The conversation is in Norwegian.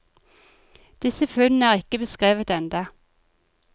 Disse funnene er ikke beskrevet enda.